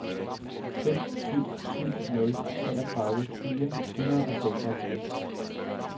fem syv syv nul treogtredive fire hundrede og seksoghalvtreds